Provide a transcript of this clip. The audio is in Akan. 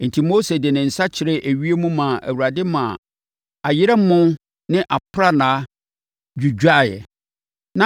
Enti, Mose de ne nsa kyerɛɛ ewiem maa Awurade maa ayerɛmo ne aprannaa dwidwaeɛ.